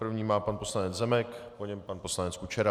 První má pan poslanec Zemek, po něm pan poslanec Kučera.